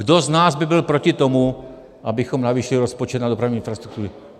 Kdo z nás by byl proti tomu, abychom navýšili rozpočet na dopravní infrastrukturu?